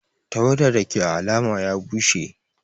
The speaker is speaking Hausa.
Tawada Dake à alama ya bushe.